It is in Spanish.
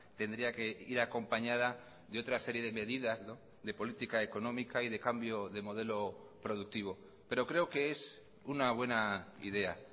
tendría que ir acompañada de otra serie de medidas de política económica y de cambio de modelo productivo pero creo que es una buena idea